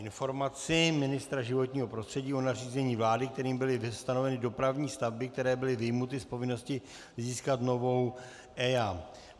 Informace ministra životního prostředí o nařízení vlády, kterým byly stanoveny dopravní stavby, které byly vyjmuty z povinnosti získat novou EIA